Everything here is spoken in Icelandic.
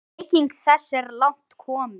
Bygging þess er langt komin.